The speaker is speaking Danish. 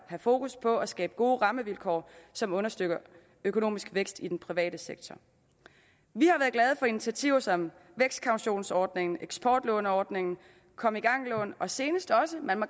fokus på at skabe gode rammevilkår som understøtter økonomisk vækst i den private sektor vi har været glade for initiativer som vækstkautionsordningen eksportlåneordningen kom i gang lån og senest også man må